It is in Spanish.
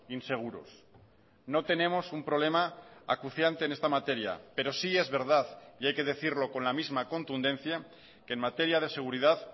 inseguros no tenemos un problema acuciante en esta materia pero sí es verdad y hay que decirlo con la misma contundencia que en materia de seguridad